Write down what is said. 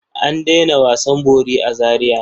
An daina wasan bori a Zariya.